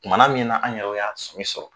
Kumana min na an yɛrɛ y' a sɛbɛ sɔrɔ